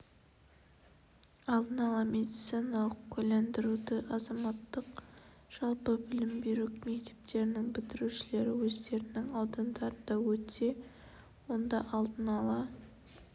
алдын ала медициналық куәландыруды азаматтық жалпы білім беру мектептерінің бітірушілері өздерінің аудандарында өтсе онда алдын ала